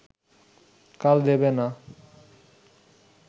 কাল দেবে না